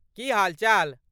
की हालचाल?